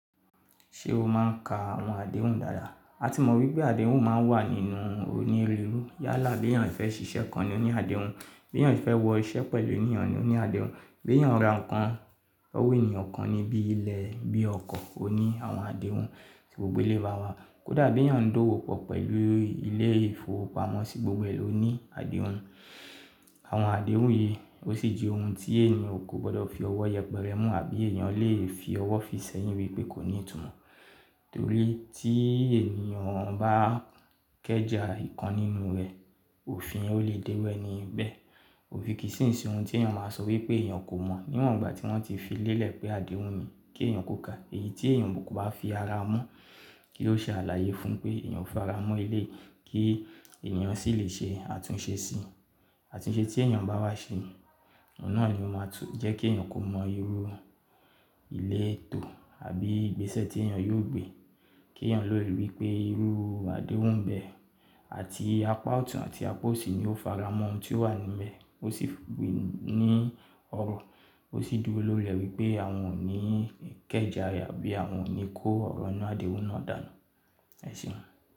Ṣé o máa ń ka àwọn àdéhùn dáadáa? A ti mọ̀ wípé àdéhùn máa ń wà nínú onírúurú. Yálà, bèyàn fẹ́ ṣiṣẹ́ kan ni ó ní àdéhùn, bèyàn fẹ́ wọ iṣẹ́ pẹ̀lú ènìyàn ni ó ní àdéhùn, bèyàn ra nǹkan lowo ènìyàn kan ní bí ilẹ̀ bí ọkọ̀, ó ní àwọn àdéhùn kí gbogbo elẹ̀yi bá a wá. Kódà bèyàn ń dówò pọ̀ pẹ̀lú ilé ìfowópamọ́sí, gbogbo ẹ ló ní àdéhùn. Àwọn àdéhùn yìí, ó sì jẹ́ ohun tí ènìyàn kò gbọdọ̀ fi ọwọ́ yẹpẹrẹ mú àbí ènìyàn lè fi ọwọ́ fi sẹ́yìn wípé kò ní ìtumọ̀. Torí tí ènìyàn bá kẹ́ja ìkan nínú rẹ̀, òfin o lè dé ẹ ní bẹ́ẹ̀. Òfín kì í sìnsín ohun tí ènìyàn máa sọ wípé ènìyàn kò mọ̀ níwọ̀n ìgbà tí wọ́n ti fi lélẹ̀ pé àdéhùn ni kí ènìyàn kó kale. Èyí tí ènìyàn búburú bá fi ara mọ́ kí ó ṣe àlàyé fún un pé ènìyàn ò faramọ́ eléyi kí ènìyàn sì lè ṣe àtúnṣe sí i. Àtúnṣe tí ènìyàn bá wá ṣe, ọ̀un nà ni ó máa tún jẹ́ kí ènìyàn kò mọ irú ilé ètò àbí ìgbésẹ̀ tí ènìyàn yóò gbé. Kí ènìyàn lòdì wípé irú àdéhùn bẹ́ẹ̀ àti apá ọ̀tún àti apá òsì ni ó faramọ́ ohun tí ó wà nínú rẹ̀. Ó sì gbin ní ọrọ̀, ó sì dúró lólẹ̀ wípé àwọn ò ní kẹ́ja àbí àwọn ò ní kó ọ̀rọ̀ iná àdéhùn náà dànù. Ẹ̀sìn.